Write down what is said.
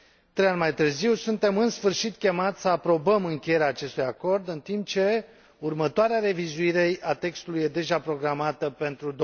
Trei ani mai târziu, suntem, în sfârșit, chemați să aprobăm încheierea acestui acord, în timp ce următoarea revizuire a textului este deja programată pentru